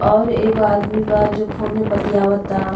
और एगो आदमी बा जो फ़ोने बतियावता।